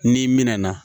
N'i mɛna